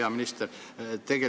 Hea minister!